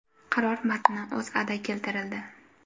Qaror matni O‘zAda keltirildi .